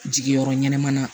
Jigiyɔrɔ ɲɛnaman na